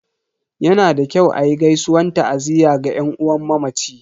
Yana da kyau a yi gaisuwan ta'aziyya ga yan uwan mamaci.